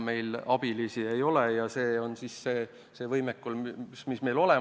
Meil abilisi ei ole ja selline on see võimekus, mis meil on.